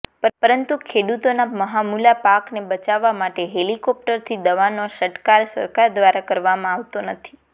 પરંતુ ખેડૂતોના મહામુલા પાકને બચાવવા માટે હેલિકોપ્ટરથી દવાનો છંટકાવ સરકાર દ્વારા કરવામાં આવતો નથી